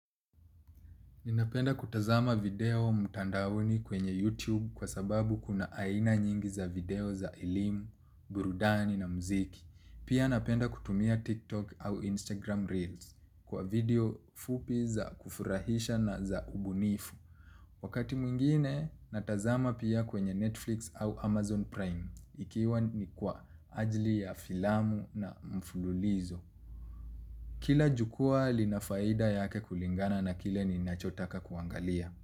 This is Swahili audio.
Ninapenda kutazama video mutandaoni kwenye YouTube kwa sababu kuna aina nyingi za video za elimu, burudani na mziki. Pia napenda kutumia TikTok au Instagram Reels kwa video fupi za kufurahisha na za ubunifu. Wakati mwingine natazama pia kwenye Netflix au Amazon Prime ikiwa ni kwa ajli ya filamu na mfululizo. Kila jukua linafaida yake kulingana na kile ninachotaka kuangalia.